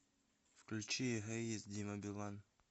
включи эгоист дима билан